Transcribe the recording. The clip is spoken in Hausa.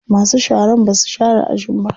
Masu sharan basu share ajin ba.